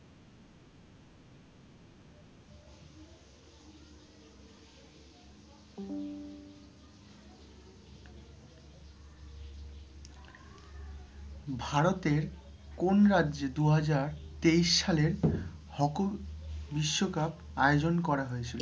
ভারতের কোন রাজ্যে দুহাজার তেইশ সালের hockey বিশ্বকাপ, আয়োজন করা হয়েছিলো?